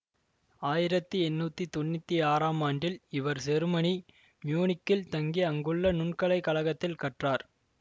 ஆயிரத்தி எண்ணூத்தி தொன்னூத்தி ஆறாம் ஆண்டில் இவர் செருமனி மியூனிக்கில் தங்கி அங்குள்ள நுண்கலைக் கழகத்தில் கற்றார்